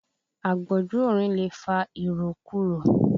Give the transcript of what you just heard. Àgbọ́jù orin lè fa ìròkurò.